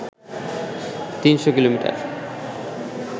৩০০ kilometre